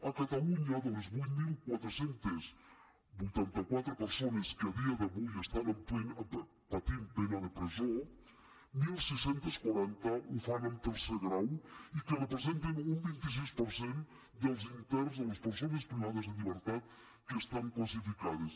a catalunya de les vuit mil quatre cents i vuitanta quatre persones que a dia d’avui estan patint pena de presó setze quaranta ho fan en tercer grau i representen un vint sis per cent dels interns de les persones privades de llibertat que estan classificades